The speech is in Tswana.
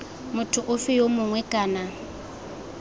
motho ofe yo mongwe kana